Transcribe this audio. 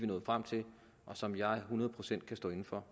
nået frem til og som jeg hundrede procent kan stå inde for